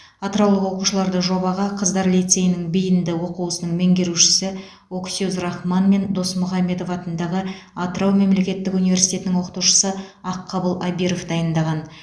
атыраулық оқушыларды жобаға қыздар лицейінің бейінді оқу ісінің меңгерушісі оксюз рахман мен досмұхамедов атындағы атырау мемлекеттік университетінің оқытушысы аққабыл абиров дайындаған